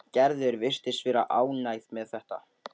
Gerður virtist vera ánægð með þetta.